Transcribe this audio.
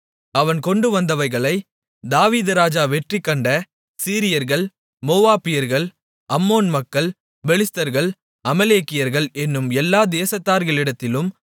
அவன் கொண்டு வந்தவைகளை தாவீது ராஜா வெற்றிகண்ட சீரியர்கள் மோவாபியர்கள் அம்மோன் மக்கள் பெலிஸ்தர்கள் அமலேக்கியர்கள் என்னும் எல்லா தேசத்தார்களிடத்திலும்